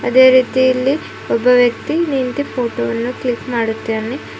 ಅದೇ ರೀತಿಯಲ್ಲಿ ಒಬ್ಬ ವ್ಯಕ್ತಿ ನಿಂತು ಫೋಟೋ ವನ್ನು ಕ್ಲಿಕ್ ಮಾಡುತ್ತಾನೆ.